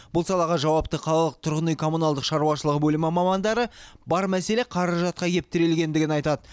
бұл салаға жауапты қалалық тұрғын үй коммуналдық шаруашылығы бөлімі мамандары бар мәселе қаражатқа кеп тірелгендігін айтады